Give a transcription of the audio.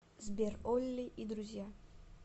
сбер олли и друзья